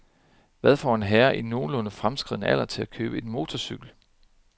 Hvad får en herre i nogenlunde fremskreden alder til at købe motorcykel?